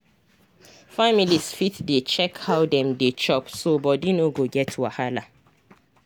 families fit dey check how dem dey chop so body no go get wahala.